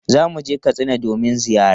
Za mu je Katsina domin ziyara.